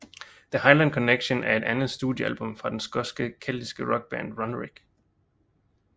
The Highland Connection er det andet studiealbum fra den skotske keltiske rockband Runrig